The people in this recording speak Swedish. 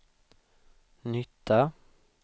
nytta